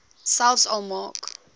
selfs al maak